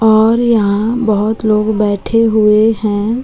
और यहां बहुत लोग बैठे हुए हैं।